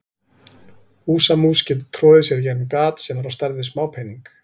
Húsamús getur troðið sér í gegnum gat sem er á stærð við smápening.